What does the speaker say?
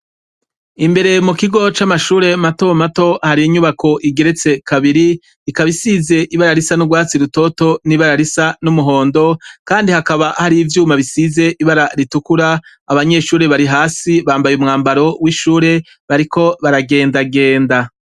Imbere mu kigo c'amashure matomato hari inyubako igeretse kabiri ikabisize ibararisa n'urwatsi rutoto n'ibararisa n'umuhondo, kandi hakaba hari ivyuma bisize ibara ritukura abanyeshure bari hasi bambaye umwambaro w'ishure bariko baragendagenda.